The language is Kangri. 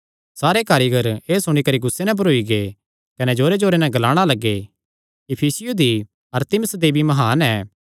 सारे कारीगर एह़ सुणी करी गुस्से नैं भरोई गै कने जोरेजोरे नैं ग्लाणा लग्गे इफिसियां दी अरतिमिस देवी म्हान ऐ